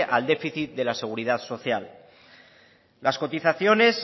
al déficit de la seguridad social las cotizaciones